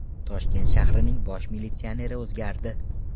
Toshkent shahrining bosh militsioneri o‘zgardi.